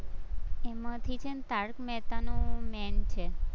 એમાંથી છે ને તારક મહેતાનું main છે.